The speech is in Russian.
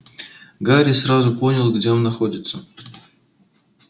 гарри сразу понял где он находится